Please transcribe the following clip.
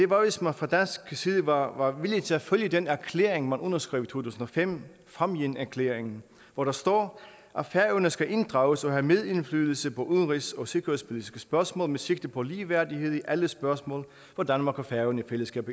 var hvis man fra dansk side var villig til at følge den erklæring man underskrev tusind og fem fámjinerklæringen hvor der står at færøerne skal inddrages og have medindflydelse på udenrigs og sikkerhedspolitiske spørgsmål med sigte på ligeværdighed i alle spørgsmål hvor danmark og færøerne i fællesskab